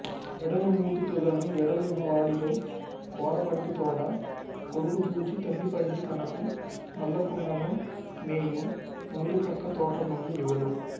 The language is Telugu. వెడనుమూతితుదను వెడలిన వాడియౌ కోరపంటితోడ కొడుకుజూచి తల్లిపండి తనకు నొల్లకున్నను మేయు నూరిప్రక్కతోట నుండు యవలు